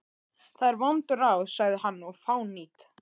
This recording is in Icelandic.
Það eru vond ráð, sagði hann,-og fánýt.